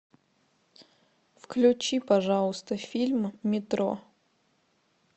включи пожалуйста фильм метро